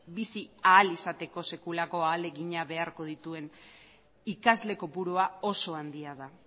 bizi ahal izateko sekulako ahalegina beharko dituen ikasle kopurua oso handia da